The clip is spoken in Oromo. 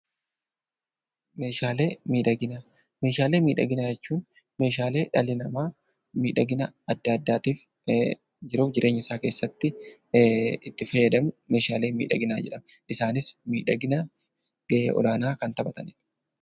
Meeshaaleen miidhaginaa jechuun meeshaalee dhalli namaa miidhaginaaf jiruuf jireenya isaa keessatti itti fayyadamudha. Isaanis miidhaginaaf gahee olaanaa kan taphatanidha.